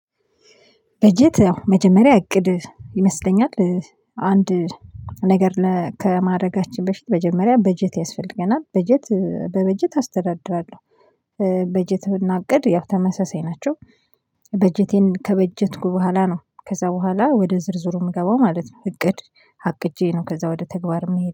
በጀት መጀመሪያ እቅድ ይመስለኛል አንድ ነገር ከማድረጋችን በፊት መጀመሪያ በጀት ያስፈልገናል በጀት በበጀት አስተዳድራለሁ። በጀት ብናቅድ ያው ተመሳሳይ ናቸው። በጀቴን ከበጀትኩ በኋላ ነው ከዛ በኋላ ወደ ዝርዝሩ የምገባው ማለት ነው። እቅድ አቅጄ ነው ከዛ ወደ ተግባር ምሄድ